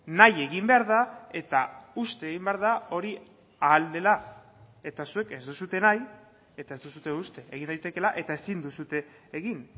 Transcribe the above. nahi egin behar da eta uste egin behar da hori ahal dela eta zuek ez duzue nahi eta ez duzue uste egin daitekela eta ezin duzue egin